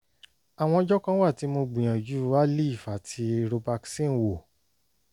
àwọn ọjọ́ kan wà tí mo gbìyànjú aleve àti robaxin wò